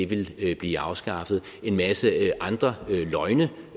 ville blive afskaffet en masse andre løgne